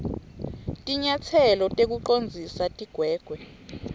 tinyatselo tekucondzisa tigwegwe